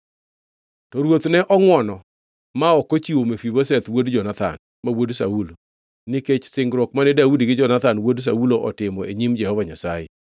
To ruoth ne ongʼwono ma ok ochiwo Mefibosheth wuod Jonathan, ma wuod Saulo, nikech singruok mane Daudi gi Jonathan wuod Saulo otimo e nyim Jehova Nyasaye.